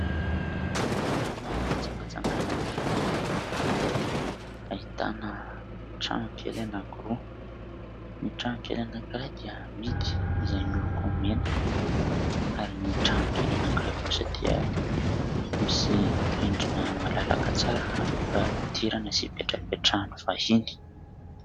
Toerana fitsangatsanganana iray izay ahitana tranokely anankiroa. Ny tranokely anankiray dia mihidy izay miloko mena ary ny tranokely anankiray kosa dia misy rindrina malalaka tsara afaka idirana sy ipetrapetrany vahiny.